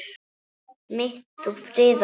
mitt þú friðar hús.